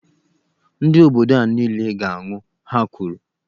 Ndị obodo a niile ga -anwụ, Ha kwuru.